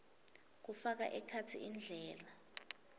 kufaka ekhatsi indlela